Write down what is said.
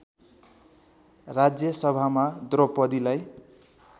राज्य सभामा द्रौपदीलाई